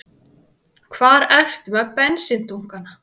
Hvar ertu með bensíndunkana?